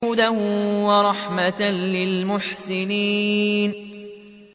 هُدًى وَرَحْمَةً لِّلْمُحْسِنِينَ